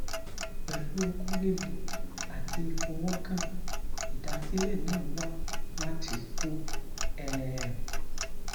pelu oko lile ati ifowokan idasile na wa lati oko um